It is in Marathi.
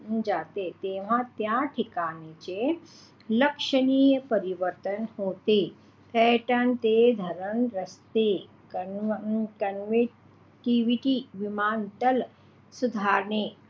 जाते तेव्हा त्या ठिकाणचे लक्षणीय परिवर्तन होते पर्यटन ते जडण रस्ते परिवहन विमान स्थळ आणि